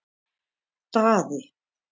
Daði